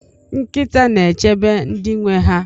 Nkịta na-echebe ndị nwe ha.